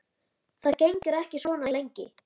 Það gengur ekki svona lengi.